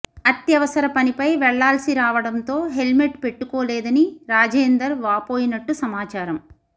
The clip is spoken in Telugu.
అత్యవసర పనిపై వెళ్లాల్సి రావడంతో హెల్మెట్ పెట్టుకోలేదని రాజేందర్ వాపోయినట్టు సమాచారం